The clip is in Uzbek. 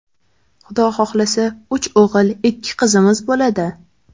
Xudo xohlasa, uch o‘g‘il, ikki qizimiz bo‘ladi.